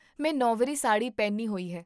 ਮੈਂ ਨੌਵਰੀ ਸਾੜ੍ਹੀ ਪਹਿਨੀ ਹੋਈ ਹੈ